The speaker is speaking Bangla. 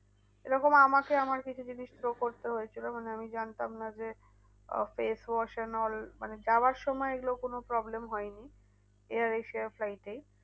এরকম আমাকে আমার কিছু জিনিস throw করতে হয়েছিল। মানে আমি জানতাম না যে আহ মানে যাওয়ার সময় এগুলো কোনো problem হয়নি। air asia flight এই